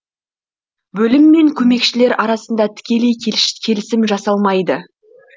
бөлім мен көмекшілер арасында тікелей келісім жасалмайды